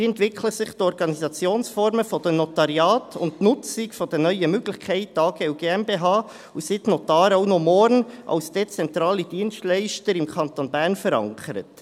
Wie entwickeln sich die Organisationsformen der Notariate und die Nutzung der neuen Möglichkeiten, AG und GmbH, und sind die Notare auch noch morgen als dezentrale Dienstleister im Kanton Bern verankert?